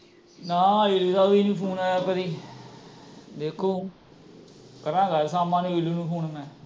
ਨਾ ਇਲੁ ਦਾ ਵੀ ਫ਼ੋਨ ਨਹੀਂ ਆਇਆ ਕਦੇ ਵੇਖੋ ਕਰਾਂਗਾ ਅੱਜ ਸ਼ਾਮਾਂ ਨੂੰ ਇਲੁ ਨੂੰ ਮੈਂ